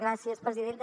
gràcies presidenta